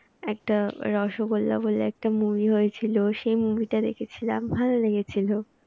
একটা রসগোল্লা বলে একটা movie হয়েছিল সেই movie টা দেখেছিলাম। ভালো লেগেছিলো।